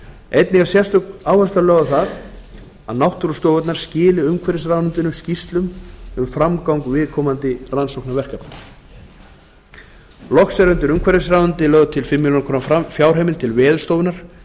einnig er sérstök áhersla lögð á það að náttúrustofurnar skili umhverfisráðuneyti skýrslum um framgang viðkomandi rannsóknarverkefna loks er lögð til fimm milljónir króna fjárheimild til veðurstofu íslands